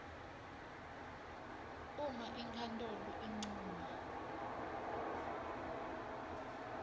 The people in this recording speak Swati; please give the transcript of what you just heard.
uma inkhantolo incuma